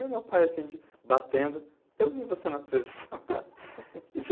Aí, meu pai, assim, de batendo, eu vi você na televisão.